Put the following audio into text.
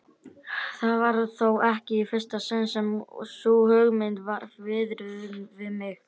Það var þó ekki í fyrsta sinn sem sú hugmynd var viðruð við mig.